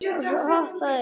Hoppaðu upp í.